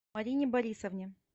марине борисовне